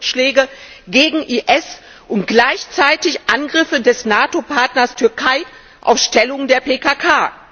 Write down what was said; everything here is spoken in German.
Nato Luftschläge gegen den IS und gleichzeitig Angriffe des Nato Partners Türkei auf Stellungen der PKK